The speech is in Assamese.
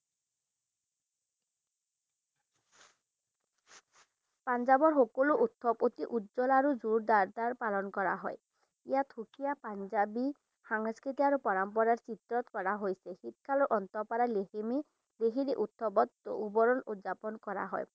পাঞ্জাবৰ সাকালো উৎসব অতি উজ্জ্বল আৰু জোৰদাৰ কে পালন কৰা হয় ইয়াত সুকীয়া পাঞ্জাবী সংস্কৃতি আৰু পৰম্পৰা হিতত কৰা হৈছে শীতকালৰ আন্তঃ পৰা লেহেমী যিখিনি উৎসৱত উবৰল উদযাপন কৰা হয়।